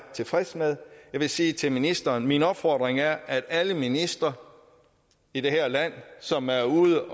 tilfreds med jeg vil sige til ministeren at min opfordring er at alle ministre i det her land som er ude